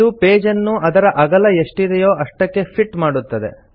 ಇದು ಪೇಜ್ ಅನ್ನು ಅದರ ಅಗಲ ಎಷ್ಟಿದೆಯೋ ಅಷ್ಟಕ್ಕೆ ಫಿಟ್ ಮಾಡುತ್ತದೆ